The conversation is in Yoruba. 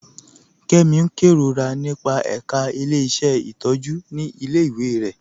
Kẹmi n kẹrorà nípa ẹká ilẹ̀-iṣẹ́ ntọjú ni ilẹ̀-iwé rẹ.